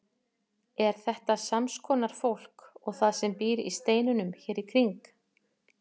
Er þetta sams konar fólk og það sem býr í steinunum hér í kring?